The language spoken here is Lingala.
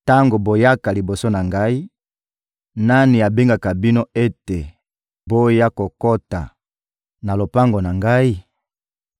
Tango boyaka liboso na Ngai, nani abengaka bino ete boya kokota na lopango na Ngai?